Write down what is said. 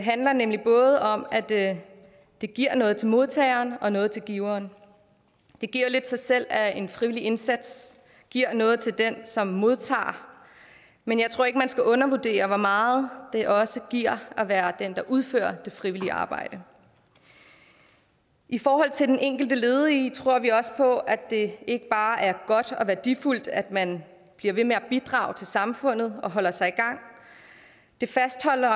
handler nemlig både om at det giver noget til modtageren og noget til giveren det giver jo lidt sig selv at en frivillig indsats giver noget til den som modtager men jeg tror ikke man skal undervurdere hvor meget det også giver at være den der udfører det frivillige arbejde i forhold til den enkelte ledige tror vi også på at det ikke bare er godt og værdifuldt at man bliver ved med at bidrage til samfundet og holder sig i gang det fastholder